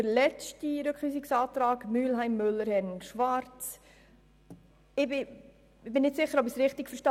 Zum letzten Rückweisungsantrag Müller/Mühlheim/Herren/ Schwarz: Ich bin nicht sicher, ob ich diesen richtig verstehe.